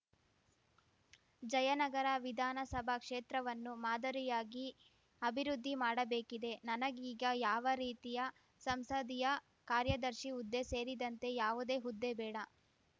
ಜಯನಗರ ವಿಧಾನಸಭಾ ಕ್ಷೇತ್ರವನ್ನು ಮಾದರಿಯಯಾಗಿ ಅಭಿವೃದ್ಧಿ ಮಾಡಬೇಕಿದೆ ನನಗೀಗ ಯಾವ ರೀತಿಯ ಸಂಸದೀಯ ಕಾರ್ಯದರ್ಶಿ ಹುದ್ದೆ ಸೇರಿದಂತೆ ಯಾವುದೇ ಹುದ್ದೆ ಬೇಡ